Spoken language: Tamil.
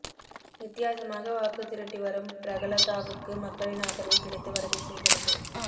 வித்தியாசமாக வாக்கு திரட்டி வரும் பிரகலதாவுக்கு மக்களின் ஆதரவு கிடைத்து வரவே செய்கிறது